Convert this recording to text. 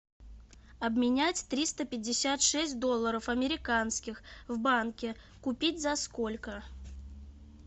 обменять триста пятьдесят шесть долларов американских в банке купить за сколько